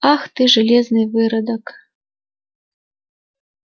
ах ты железный выродок